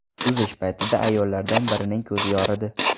Suzish paytida ayollardan birining ko‘zi yoridi.